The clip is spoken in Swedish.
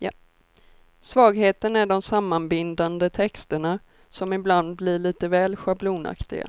Svagheten är de sammanbindande texterna, som ibland blir lite väl schablonaktiga.